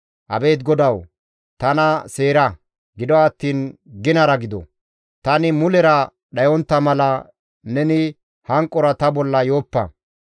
Abeet GODAWU! Tana seera; gido attiin ginara gido. Tani mulera dhayontta mala neni hanqora ta bolla yooppa;